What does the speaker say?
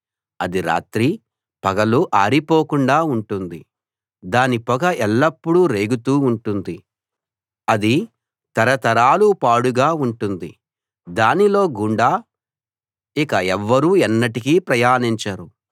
అది రాత్రీ పగలూ ఆరిపోకుండా ఉంటుంది దాని పొగ ఎల్లప్పుడూ రేగుతూ ఉంటుంది అది తరతరాలు పాడుగా ఉంటుంది దానిలో గుండా ఇక ఎవ్వరూ ఎన్నటికీ ప్రయాణించరు